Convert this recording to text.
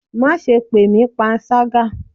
Ma sé pe mí pánṣagá!